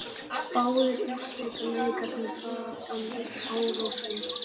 Báðir úrslitaleikirnir fara fram í Árósum